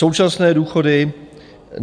Současné důchody.